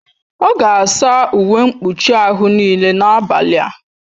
Ọ ga-asa uwe mkpuchi ahụ niile n'abalị a